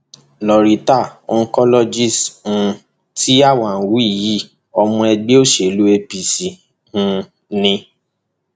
loretta [cs[ oncologist um tí a wá ń wí yìí ọmọ ẹgbẹ òṣèlú apc um ni